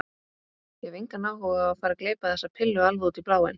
Ég hef engan áhuga á að fara að gleypa þessa pillu alveg út í bláinn.